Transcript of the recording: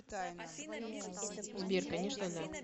сбер конечно да